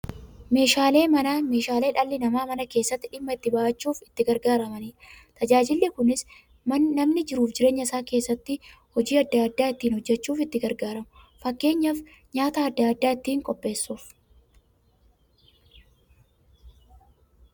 Meeshaaleen manaa meeshaalee dhalli namaa Mana keessatti dhimma itti ba'achuuf itti gargaaramaniidha. Tajaajilli kunis, namni jiruuf jireenya isaa keessatti hojii adda adda ittiin hojjachuuf itti gargaaramu. Fakkeenyaaf, nyaata adda addaa ittiin qopheessuuf.